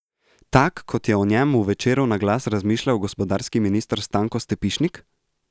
Tak, kot je o njem v Večeru na glas razmišljal gospodarski minister Stanko Stepišnik?